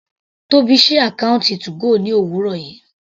Tóbi sí àkọ́ùntì 2go ní òwúrọ̀ yìí.